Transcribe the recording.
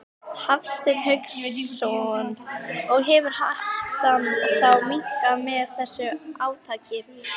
Hafsteinn Hauksson: Og hefur hættan þá minnkað með þessu átaki?